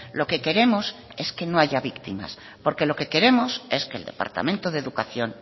lo que queremos es que no haya víctimas porque lo que queremos es que el departamento de educación